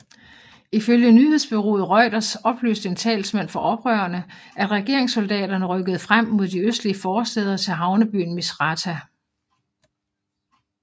Ifølge nyhedsbureauet Reuters oplyste en talsmand for oprørerne at regeringssoldaterne rykkede frem mod de østlige forstæder til havnebyen Misratah